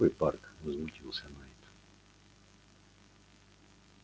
какой парк возмутился найд